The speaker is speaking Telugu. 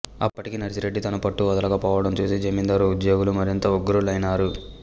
అప్పటికీ నర్సిరెడ్డి తన పట్టు వదలక పోవడం చూసి జమీందారు ఉద్యోగులు మరింత ఉగ్రులైనారు